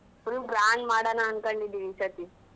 Full grand ಮಾಡೋಣ ಅನ್ಕಡ್ಡಿದ್ದೀವಿ ಈ ಸರ್ತಿ.